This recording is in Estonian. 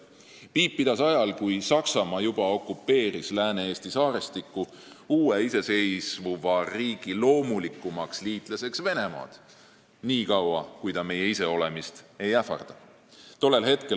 " Piip pidas ajal, kui Saksamaa juba okupeeris Lääne-Eesti saarestikku, uue iseseisvuva riigi loomulikumaks liitlaseks Venemaad, "niikaua, kui ta meie iseolemist ei ähvarda".